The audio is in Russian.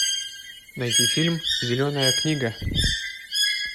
найти фильм зеленая книга